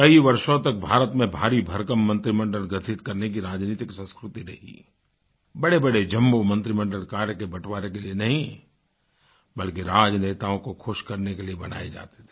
कई वर्षों तक भारत में भारी भरकम मंत्रिमंडल गठित करने की राजनीतिक संस्कृति ने ही बड़ेबड़े जम्बो मंत्रिमंडलकार्य के बँटवारे के लिए नहीं बल्कि राजनेताओं को खुश करने के लिए बनाए जाते थे